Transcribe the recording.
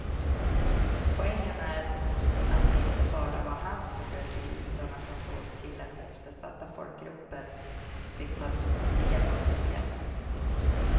Poängen är att det inte bara var han som blev fri utan han såg till att eftersatta folkgrupper fick ta del av friheten.